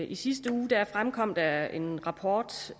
i sidste uge fremkom der en rapport